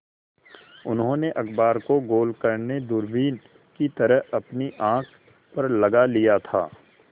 उन्होंने अखबार को गोल करने दूरबीन की तरह अपनी आँख पर लगा लिया था